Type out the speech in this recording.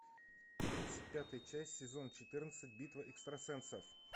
тридцать пятая часть сезон четырнадцать битва экстрасенсов